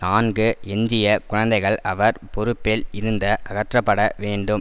நான்கு எஞ்சிய குழந்தைகள் அவர் பொறுப்பில் இருந்த அகற்றப்பட வேண்டும்